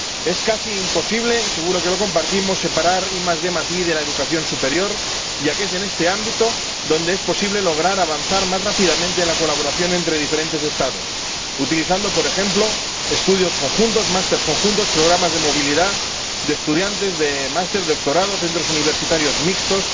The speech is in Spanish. Es casi imposible —y seguro que lo compartimos— separar IDi de la educación superior, ya que es en este ámbito donde es posible lograr avanzar más rápidamente en la colaboración entre diferentes Estados, utilizando, por ejemplo, estudios conjuntos, másteres conjuntos, programas de movilidad, de estudiantes, de másteres, doctorados, centros universitarios mixtos,